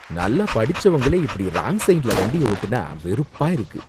நல்லா படிச்சவங்களே இப்படி ராங் சைட்ல வண்டிய ஓட்டினா வெறுப்பா இருக்கு.